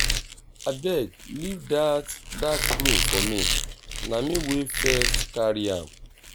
abeg leave dat dat broom for me na me wey first carry am